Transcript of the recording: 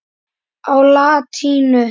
á latínu.